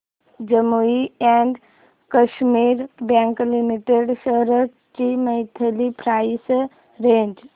Jammu and Kashmir bank limited shares ची monthly price range